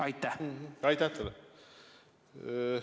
Aitäh teile!